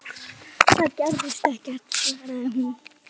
Það gerðist ekkert, svaraði hún.